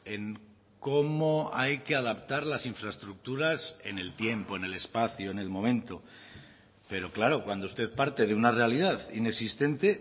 en cómo hay que adaptar las infraestructuras en el tiempo en el espacio en el momento pero claro cuando usted parte de una realidad inexistente